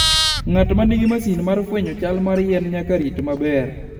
Ng'at ma nigi masin mar fwenyo chal mar yien nyaka rit maber.